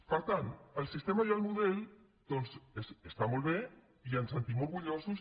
per tant el sistema i el model doncs estan molt bé i ens en sentim orgullosos